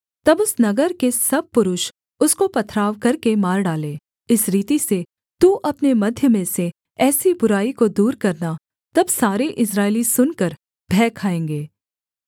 तब उस नगर के सब पुरुष उसको पथराव करके मार डालें इस रीति से तू अपने मध्य में से ऐसी बुराई को दूर करना तब सारे इस्राएली सुनकर भय खाएँगे